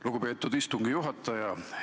Lugupeetud istungi juhataja!